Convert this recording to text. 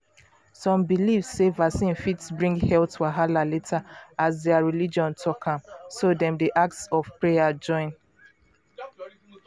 some believe sey vaccine fit bring health wahala later as their religion talk am so dem dey ask of prayer join.